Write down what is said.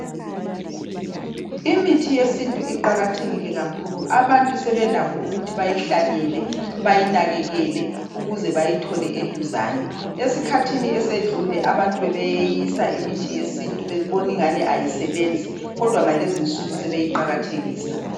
imithi yesintu iqhakathekile kakhulu abantu sebelakho ukuthi bayi hlanyele bayinakekele ukuze bayithole eduzane esikhathini esedlule abantu bebeyi yeyisa imithi yesintu besithi ayisebenzi kodwa ngalezo isuku sebeyi qakathekisa